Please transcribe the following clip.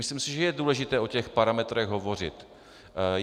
Myslím si, že je důležité o těch parametrech hovořit.